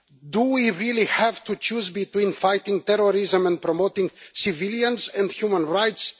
Do we really have to choose between fighting terrorism and promoting civilian and human rights?